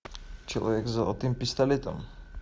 человек с золотым пистолетом